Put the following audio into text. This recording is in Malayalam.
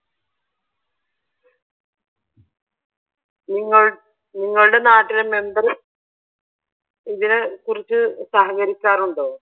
നിങ്ങളുടെ, നിങ്ങളുടെ നാട്ടിലെ മെമ്പർ ഇതിനെ കുറിച്ച് സഹകരിക്കാറുണ്ടോ?